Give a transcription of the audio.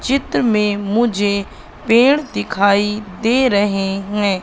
चित्र में मुझे पेड़ दिखाई दे रहे हैं।